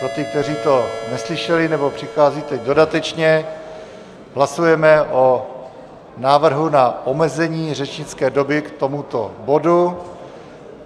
Pro ty, kteří to neslyšeli nebo přicházejí teď dodatečně, hlasujeme o návrhu na omezení řečnické doby k tomuto bodu.